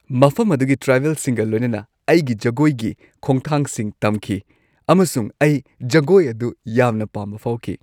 ꯃꯐꯝ ꯑꯗꯨꯒꯤ ꯇ꯭ꯔꯥꯏꯕꯦꯜꯁꯤꯡꯒ ꯂꯣꯏꯅꯅ ꯑꯩꯒꯤ ꯖꯒꯣꯏꯒꯤ ꯈꯣꯡꯊꯥꯡꯁꯤꯡ ꯇꯝꯈꯤ ꯑꯃꯁꯨꯡ ꯑꯩ ꯖꯒꯣꯏ ꯑꯗꯨ ꯌꯥꯝꯅ ꯄꯥꯝꯕ ꯐꯥꯎꯈꯤ꯫